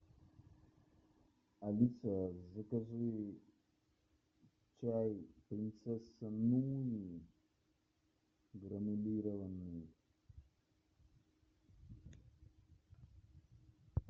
алиса закажи чай принцесса нури гранулированный